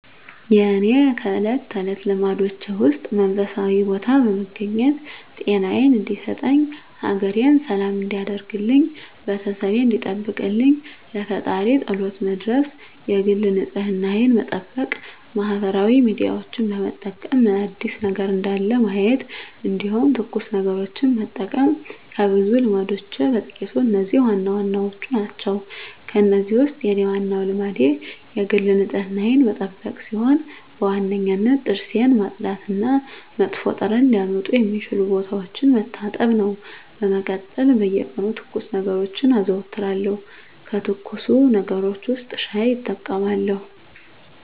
የእኔ ከእለት ተለት ልማዶቼ ውስጥ መንፈሳዊ ቦታ በመገኘት ጤናየን እንዲሰጠኝ፣ ሀገሬን ሰላም እንዲያደርግልኝ፣ ቤተሰቤን እንዲጠብቅልኝ ለፈጣሪየ ፀሎት መድረስ የግል ንፅህናየን መጠበቅ ማህበራዊ ሚዲያዎችን በመጠቀም ምን አዲስ ነገር እንዳለ ማየት እንዲሁም ትኩስ ነገሮችን መጠቀም ከብዙ ልማዶቼ በጥቂቱ እነዚህ ዋናዎቹ ናቸው። ከእነዚህ ውስጥ የኔ ዋናው ልማዴ የግል ንፅህናዬን መጠበቅ ሲሆን በዋነኝነት ጥርሴን ማፅዳት እና መጥፎ ጠረን ሊያመጡ የሚችሉ ቦታዎችን መታጠብ ነው። በመቀጠል በየቀኑ ትኩስ ነገሮችን አዘወትራለሁ ከትኩስ ነገሮች ውስጥ ሻይ እጠቀማለሁ።